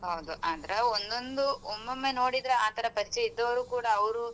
ಹೌದು ಆದ್ರೆ ಒಂದೊಂದು ಒಮ್ಮೊಮ್ಮೆ ನೋಡಿದ್ರೆ ಆತರ ಪರಿಚಯ ಇದ್ದವರು ಕೂಡ ಅವ್ರು.